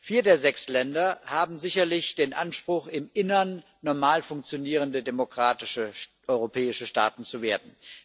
Vier der sechs Länder haben sicherlich den Anspruch, im Innern normal funktionierende demokratische europäische Staaten zu werden.